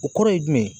O kɔrɔ ye jumɛn ye